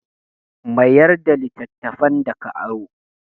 Mayar da littattafan da ka aro.